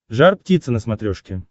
жар птица на смотрешке